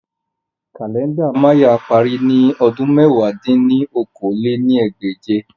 Kalẹnda Maya pari ni ọdun mẹ̀wá dín ní okòó-lé-ní-ẹgbẹ́je